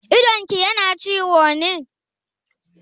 Idonki yana ciwo ne?